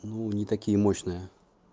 ну не такие мощные